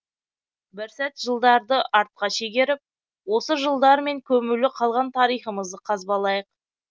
бір сәт жылдарды артқа шегеріп осы жылдармен көмулі қалған тарихымызды қазбалайық